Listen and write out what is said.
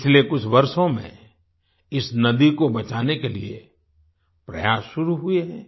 पिछले कुछ वर्षों में इस नदी को बचाने के लिए प्रयास शुरू हुए हैं